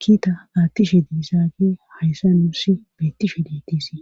kiita aattishe diisaage hayssa nuussi bettishe deetisi